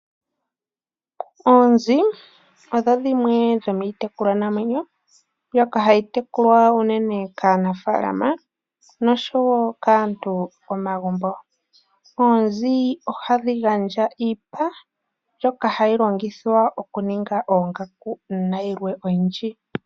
Oonzi odho dhimwe dhomiitekulwa namwenyo mbyoka hayi tekulwa unene kaanafaalama nosho wo kaantu momagumbo. Oonzi ohadhi gandja iipa mbyoka hayi longithwa okuninga oongaku nayilwe oyindji.